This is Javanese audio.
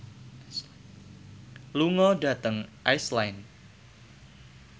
lunga dhateng Iceland